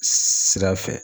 Sira fɛ.